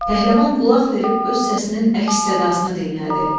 Pəhləvan qulaq verib öz səsinin əks sədasını dinlədi.